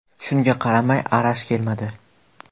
Shunga qaramay, Arash kelmadi.